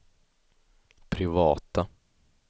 privata